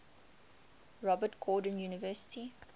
robert gordon university